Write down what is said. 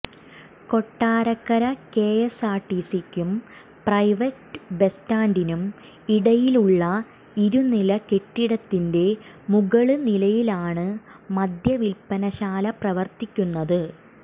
കൊട്ടാരക്കര കെഎസ്ആര്ടിസിക്കും private bus സ്റ്റാന്ഡിനും ഇടയിലുള്ള ഇരുനില കെട്ടിടത്തിന്റെ മുകള് നിലയിലാണ് മദ്യവില്പനശാല പ്രവര്ത്തിക്കുന്നത്